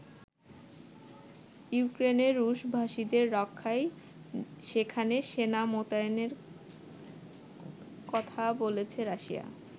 ইউক্রেনে রুশ ভাষীদের রক্ষায় সেখানে সেনা মোতায়েনে কথা বলছে রাশিয়া।